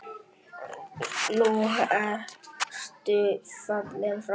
Nú ertu fallinn frá.